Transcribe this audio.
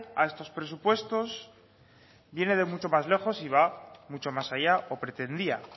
a estos presupuestos viene de mucho más lejos y va mucho más allá o pretendía